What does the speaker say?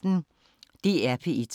DR P1